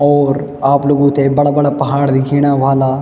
और आप लोगूं थे बड़ा बड़ा पहाड़ दिख्येणा ह्वाला।